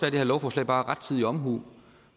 at det her lovforslag bare er rettidig omhu